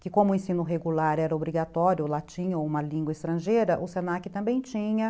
que como o ensino regular era obrigatório, latim ou uma língua estrangeira, o se na que também tinha.